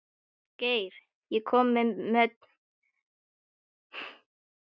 Geir, ég kom með tuttugu og eina húfur!